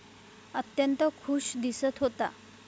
अत्यंत खुश दिसत होता.